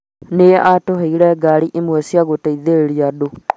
Nĩ aatũheire ngaari imwe cia gũteithĩrĩria andũ